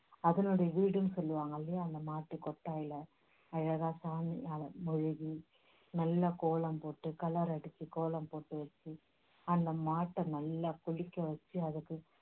அதனுடைய வீடுன்னு சொல்லுவாங்கல்லியா அந்த மாட்டுக்கொட்டாயில அழகா சாணியால மொழுகி நல்லா கோலம் போட்டு colour அடிச்சி கோலம் போட்டு வச்சி அந்த மாட்ட நல்லா குழிக்க வச்சி அதுக்கு